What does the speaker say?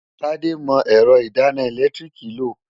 Tádé mọ ẹ̀rọ ìdáná ẹ̀lẹ́tíríìkì lò.